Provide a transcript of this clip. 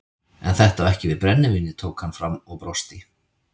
En þetta á ekki við brennivínið tók hann fram og brosti.